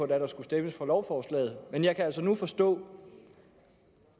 der skulle stemmes for lovforslaget men jeg kan altså nu forstå